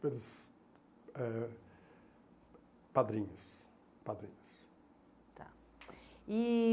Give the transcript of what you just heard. Pelos eh padrinhos. Padrinhos. Tá. E